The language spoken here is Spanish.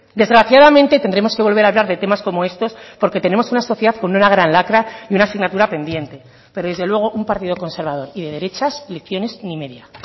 desgraciadamente tendremos que volver a hablar de temas como estos porque tenemos una sociedad con una gran lacra y una asignatura pendiente pero desde luego un partido conservador y de derechas lecciones ni media